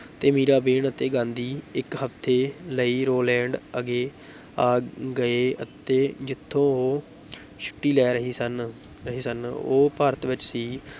ਤੇ ਮੀਰਾਬੇਨ ਅਤੇ ਗਾਂਧੀ ਇੱਕ ਹਫ਼ਤੇ ਲਈ ਰੋਲੈਂਡ ਗਏ ਆ ਗਏ ਆ ਗਏ ਅਤੇ ਜਿੱਥੋਂ ਉਹ ਛੁੱਟੀ ਲੈ ਰਹੇ ਸਨ ਰਹੇ ਸਨ, ਉਹ ਭਾਰਤ ਵਿੱਚ ਸੀ